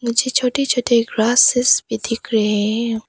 मुझे छोटे छोटे ग्रेसेस भी दिख रहे हैं।